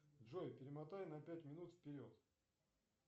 джой перемотай на пять минут вперед